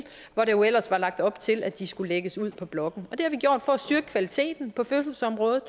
hvor der jo ellers var lagt op til at de skulle lægges ud på blokken det har vi gjort for at styrke kvaliteten på fødselsområdet